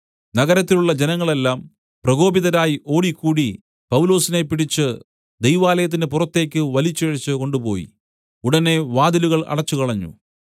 നഗരത്തിലുള്ള ജനങ്ങളെല്ലാം പ്രകോപിതരായി ഓടിക്കൂടി പൗലൊസിനെ പിടിച്ച് ദൈവാലയത്തിന് പുറത്തേക്ക് വലിച്ചിഴച്ച് കൊണ്ടുപോയി ഉടനെ വാതിലുകൾ അടച്ചുകളഞ്ഞു